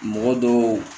Mɔgɔ dɔw